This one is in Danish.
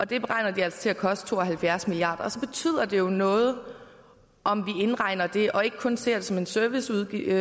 det beregner de altså til at koste to og halvfjerds milliarder og så betyder det jo noget om vi indregner det og ikke kun ser det som en serviceudgift